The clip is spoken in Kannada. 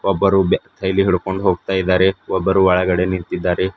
ಒಬ್ಬರು ಬ್ಯಾ ಕೈಲಿ ಹಿಡಕೊಂಡ ಹೋಗ್ತಾ ಇದಾರೆ ಒಬ್ಬರು ಒಳಗಡೆ ನಿಂತಿದ್ದಾರೆ.